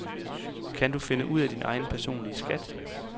Kan du finde ud af din egen personlige skat?